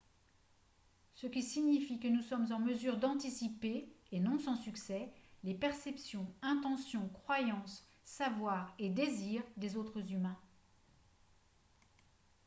ce qui signifie que nous sommes en mesure d'anticiper et non sans succès les perceptions intentions croyances savoirs et désirs des autres humains